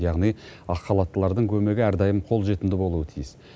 яғни ақ халаттылардың көмегі әрдайым қолжетімді болуы тиіс